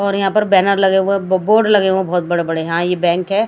और यहाँ पर बैनर लगे हुए बोर्ड लगे हुए हैं बहुत बड़े-बड़े हाँ ये बैंक है।